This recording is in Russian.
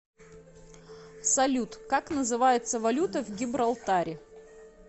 салют как называется валюта в гибралтаре